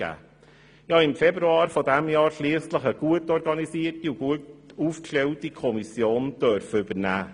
Ich durfte im Februar dieses Jahres schliesslich eine gut organisierte und gut aufgestellte Kommission übernehmen.